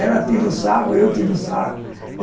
Ela tira o sarro, eu tiro o sarro.